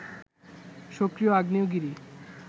সক্রিয় আগ্নেয়গিরি